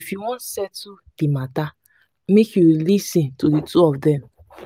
if you wan settle di mata make you lis ten to two of dem.